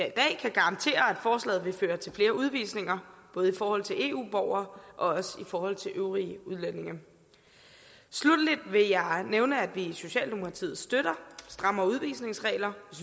garantere at forslaget vil føre til flere udvisninger både i forhold til eu borgere og i forhold til øvrige udlændinge sluttelig vil jeg nævne at vi i socialdemokratiet støtter strammere udvisningsregler